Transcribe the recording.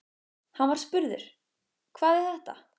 Hann var spurður: Hvað er þetta?